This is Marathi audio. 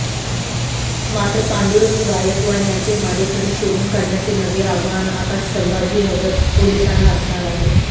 मात्र पांडुरंग गायकवाड यांचे मारेकरी शोधून काढण्याचे नवे आव्हान आता संभाजीनगर पोलिसांना असणार आहे